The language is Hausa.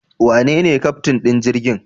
Wanene keftin din jirgin?